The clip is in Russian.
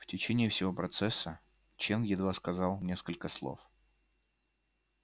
в течение всего процесса чен едва сказал несколько слов